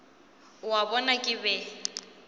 o a bona ke be